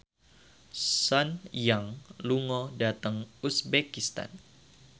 Sun Yang lunga dhateng uzbekistan